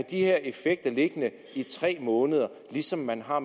de her effekter liggende i tre måneder ligesom man har